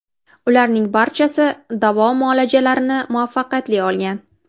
Ularning barchasi davo muolajalarini muvaffaqiyatli olgan.